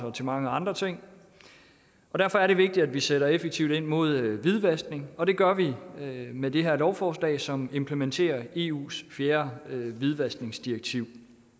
og til mange andre ting og derfor er det vigtigt at vi sætter effektivt ind mod hvidvaskning og det gør vi med det her lovforslag som implementerer eus fjerde hvidvaskningsdirektiv